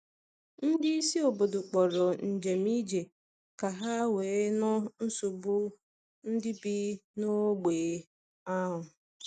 Ndị isi obodo kpọrọ njem ije ka ha wee nụ nsogbu ndị bi n’ógbè ahụ.